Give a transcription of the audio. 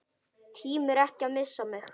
Tímir ekki að missa mig.